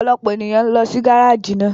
Ọpọlọpọ eniyan n lọ si gáraáji náà